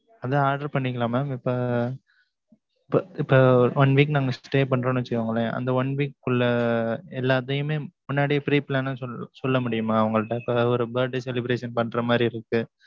அத order பண்ணிக்கலாம் mam இப்ப, இப்ப இப்ப, one week நாங்க stay பண்றோம்ன்னு வச்சுக்கோங்களேன், அந்த one week க்குள்ள, எல்லாத்தையுமே, முன்னாடியே, pre plan ன்னு சொல்~ சொல்ல முடியுமா உங்கள்ட்ட? இப்ப, ஒரு birthday celebration பண்ற மாரி, இருக்கு.